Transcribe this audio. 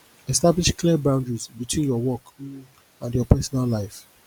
establish clear boundaries between your work um and your personal life